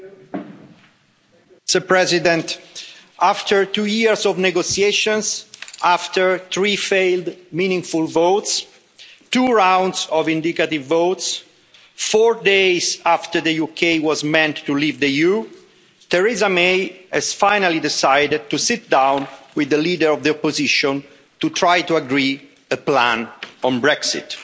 Madam President, after two years of negotiations, three failed meaningful votes and two rounds of indicative votes, four days after the UK was meant to leave the EU, Theresa May has finally decided to sit down with the Leader of the Opposition to try to agree a plan on Brexit.